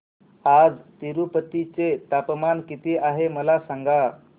आज तिरूपती चे तापमान किती आहे मला सांगा